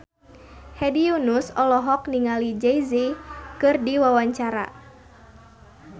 Hedi Yunus olohok ningali Jay Z keur diwawancara